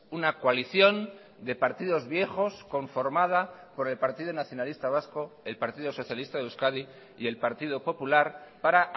una coalición de partidos viejos conformada por el partido nacionalista vasco el partido socialista de euskadi y el partido popular para